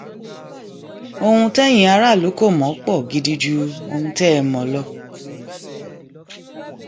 ohun tẹyin aráàlú kò mọ pó gidi ju ohun tẹ ẹ mọ lọ